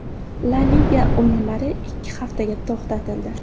La Liga o‘yinlari ikki haftaga to‘xtatildi.